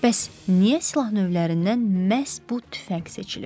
Bəs niyə silah növlərindən məhz bu tüfəng seçilib?